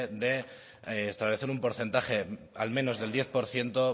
de establecer un porcentaje al menos del diez por ciento